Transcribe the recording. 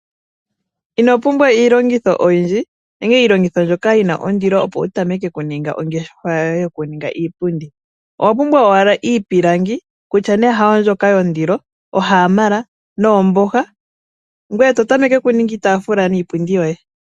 Inopumbwa iilongitho oyindji, nenge iilongitho mbyoka yina ondilo opo wu tameke okuninga oongeshefa yoye yokuninga iipundi. Owa pumbwa owala iipilangi kutya nee hayo mbyoka yondilo, ohaamala noomboha, ngoye to tameke okuninga iitafula niipundi yoye.